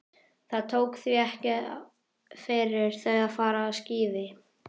Það tók því ekki fyrir þau að fara á skíði.